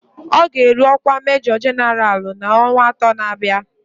Ọ ga-eru ọkwa Majọ Jenaralụ n'ọnwa atọ na-abịa